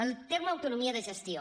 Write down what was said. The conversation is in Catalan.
el terme autonomia de gestió